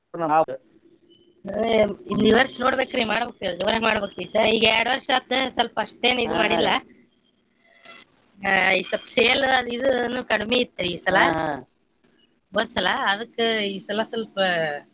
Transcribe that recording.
ಹ್ಮ್ ಈ ವರ್ಷ ನೋಡ್ಬೇಕ್ರಿ ಮಾಡ್ಬೇಕ ಜೋರಗೆ ಮಾಡ್ಬೇಕ್ರಿ ಈ ಸರಿ ಈಗ ಎರಡ್ ವರ್ಷ ಆತ್ ಸ್ವಲ್ಪ ಮಾಡಿಲ್ಲ ಹಾ ಈಗ ಸ್ವಲ್ಪ sale ಅದ್ ಇದ್ ನು ಕಡಿಮಿ ಇತ್ತ್ರಿ ಈ ಸಲಾ ಹೋದ್ಸಲ ಅದಕ್ಕ ಈ ಸಲ ಸ್ವಲ್ಪ.